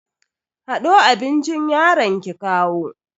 Hado abincin yaron ki kawo.